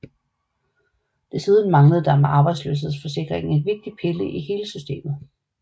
Desuden manglede der med arbejdsløshedsforsikringen en vigtig pille i hele systemet